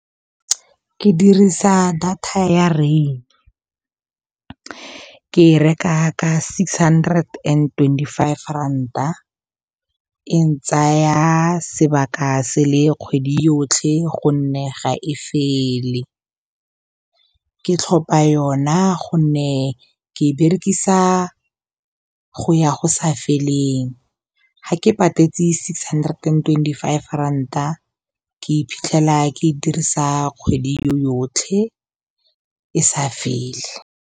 Ke dirisa data ya rain, ke reka ka six hundred and twenty-five ranta, e ntsaya sebaka se le kgwedi yotlhe go nne ga e fele, ke tlhopha yona gonne ke e berekisa go ya go sa feleng, ga ke patetse six hundred and twenty-five ranta ke iphitlhela ke e dirisa kgwedi yotlhe e sa fele.